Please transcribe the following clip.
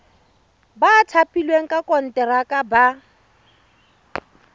ba thapilweng ka konteraka ba